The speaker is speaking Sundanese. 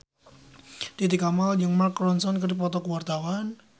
Titi Kamal jeung Mark Ronson keur dipoto ku wartawan